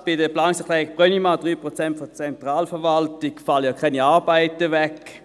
Gerade bei der Planungserklärung Brönnimann – 3 Prozent der Zentralverwaltung – fallen keine Arbeiten weg,